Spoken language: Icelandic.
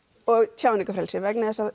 og tjáningarfrelsi vegna þess að